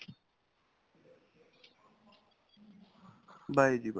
bye ਜੀ bye.